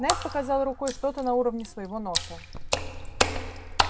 найд показал рукой что-то на уровне своего носа